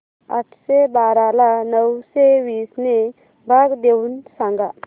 आठशे बारा ला नऊशे वीस ने भाग देऊन सांग